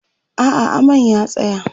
a'a aman ya tsaya